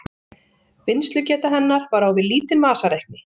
vinnslugeta hennar var á við lítinn vasareikni